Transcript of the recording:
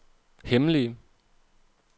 hemmelige